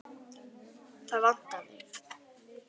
Það vantar þig.